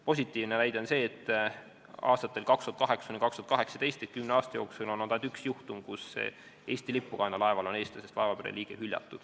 Positiivne on see, et aastatel 2008–2018 ehk kümne aasta jooksul oli ainult üks juhtum, kui Eesti lippu kandval laeval eestlasest laevapere liige hüljati.